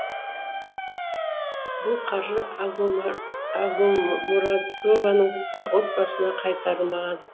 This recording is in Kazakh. бұл қаржы агамурадованың отбасына қайтарылмаған